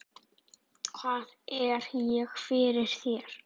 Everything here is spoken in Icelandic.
Hvað er ég fyrir þér?